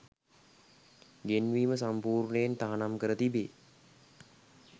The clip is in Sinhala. ගෙන්වීම සම්පූර්ණයෙන් තහනම් කර තිබේ